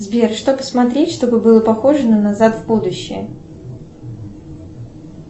сбер что посмотреть чтобы было похоже на назад в будущее